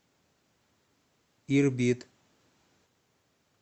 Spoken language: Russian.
ирбит